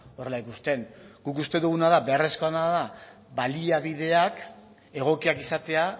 horrela ikusten guk uste duguna da beharrezkoena da baliabideak egokiak izatea